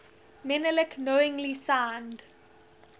menelik knowingly signed